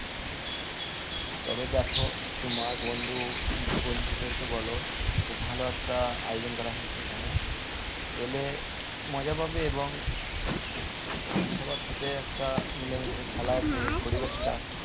তবে দেখো তোমার বন্ধু বন্ধুদের কে বলো ভালো একটা আয়োজন করা হয়েছে এখানে এলে মজা পাবে এবং সবার সাথে একটা মিলে মিশে খেলার যে পরিবেশটা